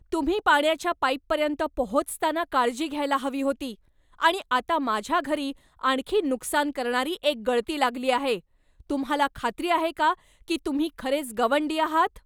तुम्ही पाण्याच्या पाईपपर्यंत पोहोचताना काळजी घ्यायला हवी होती, आणि आता माझ्या घरी आणखी नुकसान करणारी एक गळती लागली आहे! तुम्हाला खात्री आहे का की तुम्ही खरेच गवंडी आहात?